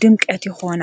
ድምቀት ይኾና።